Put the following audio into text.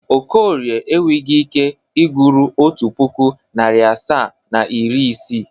Okorie enweghi ike ịgụrụ otu pụkụ, narị asaa na iri isii.